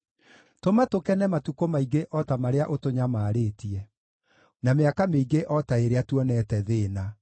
Tũma tũkene matukũ maingĩ o ta marĩa ũtũnyamarĩtie, na mĩaka mĩingĩ o ta ĩrĩa tuonete thĩĩna.